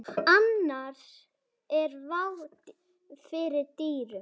Annars er vá fyrir dyrum.